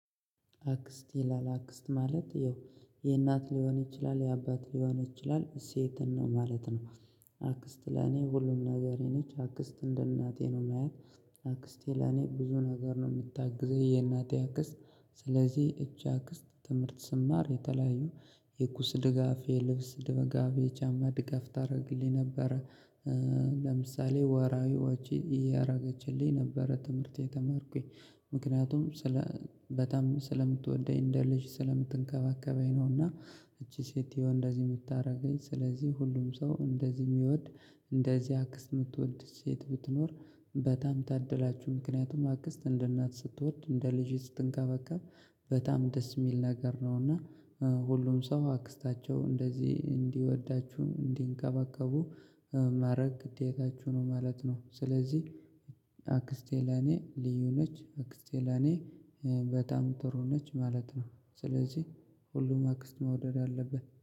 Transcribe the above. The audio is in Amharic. አክስት ይላል። አክስት ማለት ይሀው የእናት ሊሆን ይችላል የአባት ሊሆን ይችላል ሴትን ነው ማለት ነው። አክስት ለኔ ሁሉም ነገሬ ነች። አክስት እንደ እናቴ ነው የማያት። አክስቴ ለኔ ብዙ ነገር ነው የምታግዘኝ የእናቴ አክስት ስለዚህ እቺ አክስት ትምህርት ስማር የተለያዩ የቁስ ድጋፍ የልብስ ድጋፍ የጫማ ድጋፍ ታደርግልኝ ነበረ። ለምሳሌ ወርሃዊ ወጪ እያደረገችልኝ ነበረ ትምህርቴ እየተማርኩኝ ምክንያቱም ስለ በጣም ስለምትወደኝ እንደ ልጅ ስለምትንከባከበኝ ነውና። እቺ ሴት ይሆን እንደዚህ የምታደርገኝ ስለዚህ ሁሉም ሰው እንደዚህ የሚወድ እንደዚህ አክስት የምትወድ ሴት ብትኖር በጣም ታደላችሁ ምክንያቱም አክስት እንደ እናት ስትወድ እንደ ልጅ ስትንከባከብ በጣም ደስ የሚል ነገር ነው እና ሁሉም ሰው አክስታቸው እንደዚህ እንዲወዳችሁ እንዲንከባከቡ ማድረግ ግዴታችሁ ነው ማለት ነው ስለዚህ አክስቴን ለኔ ልዩ ነች አክስቴ ለኔ በጣም ጥሩ ነች ማለት ነው። ስለዚህ ሁሉም አክስቱን መውደድ አለበት።